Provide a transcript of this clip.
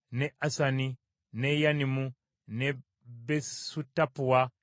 n’e Yanimu, n’e Besutappua, n’e Afeka,